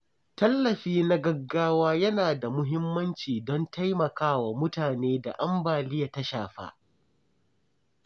Tallafi na gaggawa yana da muhimmanci don taimakawa mutanen da ambaliya ta shafa.